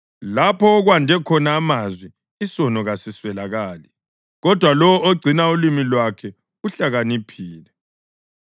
Lapho okwande khona amazwi, isono kasisweleki, kodwa lowo ogcina ulimi lwakhe uhlakaniphile.